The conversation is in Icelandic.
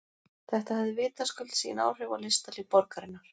Þetta hafði vitaskuld sín áhrif á listalíf borgarinnar.